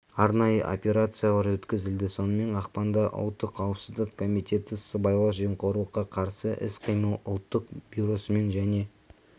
арнайы операциялар өткізілді сонымен ақпанда ұлттық қауіпсіздік комитеті сыбайлас жемқорлыққа қарсы іс-қимыл ұлттық бюросымен және